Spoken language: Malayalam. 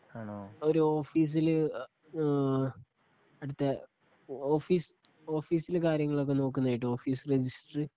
ഒരോഫീസില് ഹ് ആ അവിടുത്തെ ഓഫീസ് ഓഫീസിലെ കാര്യങ്ങളൊക്കെ നോക്കുന്നയിട്ട് ഓഫീസ് രെജിസ്റ്ററ്